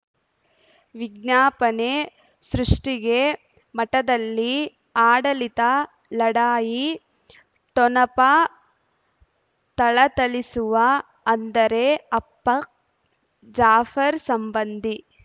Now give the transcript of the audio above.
ವಿಜ್ಞಾಪನೆ ಸೃಷ್ಟಿಗೆ ಮಠದಲ್ಲಿ ಆಡಳಿತ ಲಢಾಯಿ ಠೊಣಪ ಥಳಥಳಿಸುವ ಅಂದರೆ ಅಪ್ಪ ಜಾಫರ್ ಸಂಬಂಧಿ